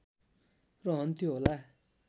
रहन्थ्यो होला